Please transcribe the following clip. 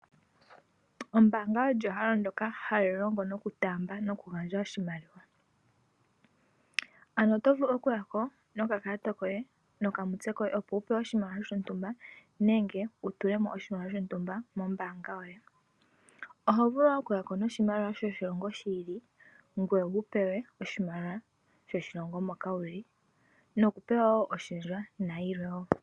Ombaanga olyo ehala ndjoka ha li longo noku taamba oshimaliwa. Ano Oto vulu oku yako noka kalata koye nokamutse koye opo wu pewe oshimaliwa, nenge wu tulemo oshimaliwa shontumba mombaanga yoye. Oho vulu oku yako noshimaliwa so shilongo shi ilile ngoye, ngoye to pewa oshimaliwa sho shilongo moka wu li.